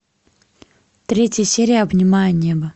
третья серия обнимая небо